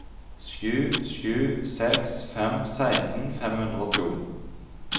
sju sju seks fem seksten fem hundre og to